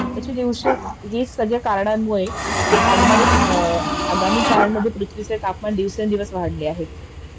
actually हीच सगळी कारणांमुळे आगमनीत अ आगामी काळामध्ये पृथ्वीचे तापमान वाढले आहे